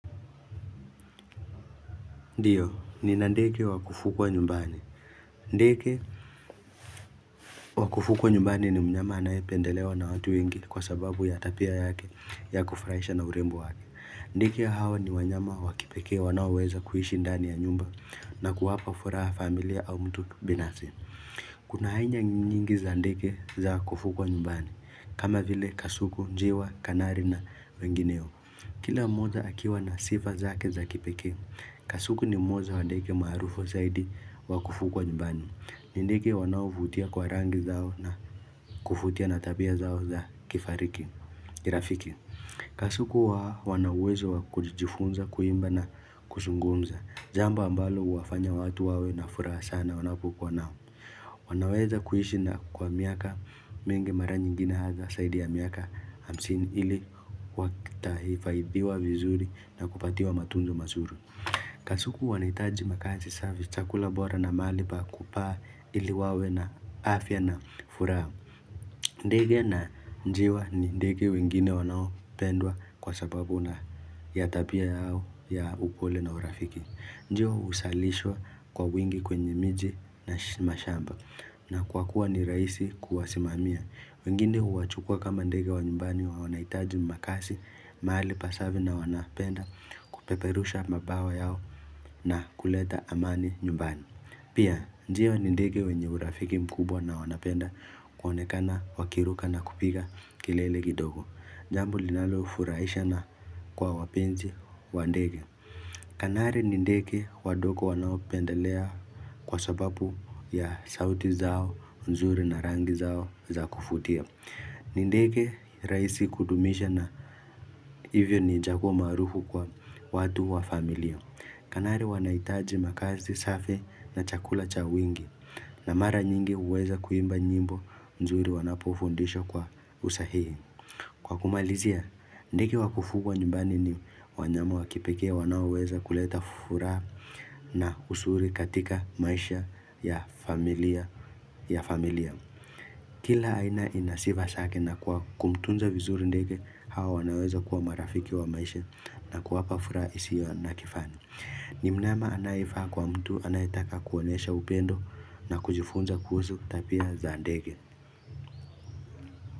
Ndiyo, nina ndekge wa wakugwa nyumbani. Ndeke wakufukwa nyumbani ni mnyama anaye pendelewa na watu wengi kwa sababu ya tapia yake ya kufuraisha na urembo wake. Ndeke hawa ni wanyama wa kipeke wanaoweza kuishi ndani ya nyumba na kuwapa furaha familia au mtu binafsi. Kuna ainya nyingi za ndege za kufukwa nyumbani kama vile kasuku, njiwa, kanari na wengineo. Kila moja akiwa na sifa zake za kipeke. Kasuku ni moja wa deke maarufu zaidi wakufugwa nyumbani. Ni ndeke wanao vutia kwa rangi zao na kuvutia na tabia zao za kifariki. Kirafiki Kasuku wanawezo kujifunza, kuimba na kuzungunza Jambo ambalo huwafanya watu wawe na furaha sana wanapokua nao wanaweza kuishi na kwa miaka mingi mara nyingine hasa saidi ya miaka hamsini ili wakitaifadhiwa vizuri na kupatiwa matunzo masuri Kasuku wanaitaji makazi safi chakula bora na maali pa kupaa ili wawe na afya na furaha ndege na njiwa ni ndege wengine wanao pendwa kwa sababu na ya tapia yao ya upole na urafiki Ndio usalishwa kwa wingi kwenye miji na mashamba na kwa kuwa ni rahisi kuwasimamia wengine huwachukua kama ndege wa nyumbani wa wanaitaji makasi mahali pasafi na wanapenda Kupeperusha mabawa yao na kuleta amani nyumbani Pia, njiwa ni ndege wenye urafiki mkubwa na wanapenda kuonekana wakiruka na kupiga kilele kidogo. Jambo linalo furahisha na kwa wapenzi wa ndege. Kanari ni ndeke wadoko wanaopendelea kwa sababu ya sauti zao, nzuri na rangi zao za kufutia. Nindeke raisi kudumisha na hivyo ni chaguo maarufu kwa watu wa familia. Kanari wanaitaji makazi safi na chakula cha wingi. Na mara nyingi uweza kuimba nyimbo nzuri wanapofundisha kwa usahihi Kwa kumalizia, ndege wakufugwa nyumbani ni wanyama wakipeke wanaoweza kuleta furaha na usuri katika maisha ya familia ya familia Kila aina ina sifa sake na kwa kumtunza vizuri ndege hao wanaweza kuwa marafiki wa maisha na kuwapa furaha isio na kifani ni mnama anayefaa kwa mtu anayetaka kuonyesha upendo na kujifunza kuhuzu tapia za ndege.